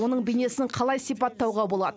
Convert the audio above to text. оның бейнесін қалай сипаттауға болады